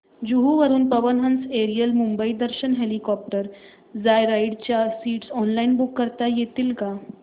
जुहू वरून Pawan Hans aerial Mumbai Darshan helicopter joyride च्या seats online book करता येतील का